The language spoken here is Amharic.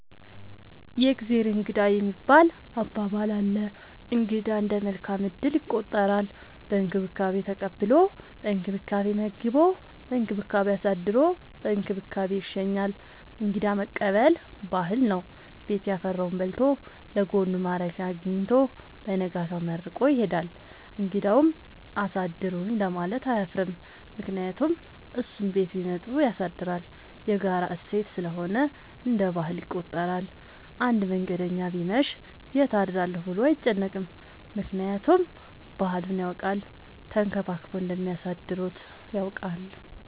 የእግዜር እንግዳ የሚባል አባባል አለ። እንግዳ እንደ መልካም እድል ይቆጠራል። በእንክብካቤ ተቀብሎ በእንክብካቤ መግቦ በእንክብካቤ አሳድሮ በእንክብካቤ ይሸኛል። እንግዳ መቀበል ባህል ነው። ቤት ያፈራውን በልቶ ለጎኑ ማረፊያ አጊኝቶ በነጋታው መርቆ ይሄዳል። እንግዳውም አሳድሩኝ ለማለት አያፍርም ምክንያቱም እሱም ቤት ቢመጡ ያሳድራል። የጋራ እሴት ስለሆነ እንደ ባህል ይቆጠራል። አንድ መንገደኛ ቢመሽ ይት አድራለሁ ብሎ አይጨነቅም። ምክንያቱም ባህሉን ያውቃል ተንከባክበው እንደሚያሳድሩት።